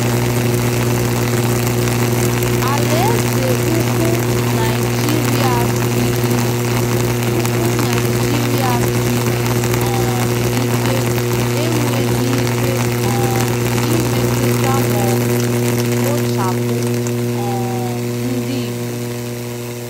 Alaeze Ukwu Naịjirịa siri Ukwu Naịjirịa siri um ike enweghị ike um imetụta ma ọ bụ kpochapụ um ndị Igbo.